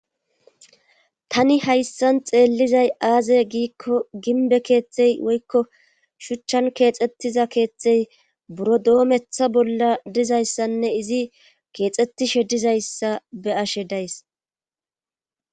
tani hayssan xeellizay aaze giikko ginbe keeththey woykko shuchchan keexxettiza keeththey buro doometha bolla dizayssanne izi keexxettishe dizayssa be ashe days